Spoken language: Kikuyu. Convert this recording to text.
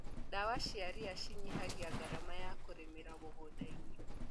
Ndawa cia ria cinyihagia ngarama ya kũrĩmĩra mũgundainĩ.